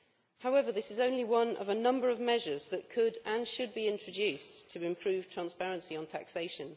However, this is only one of a number of measures that could and should be introduced to improve transparency on taxation.